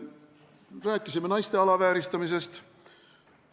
Rääkisime naiste alavääristamisest.